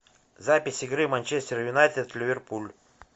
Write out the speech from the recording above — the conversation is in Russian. запись игры манчестер юнайтед ливерпуль